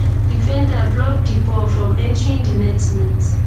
defender block di ball from entering di net net